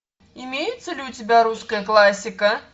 имеется ли у тебя русская классика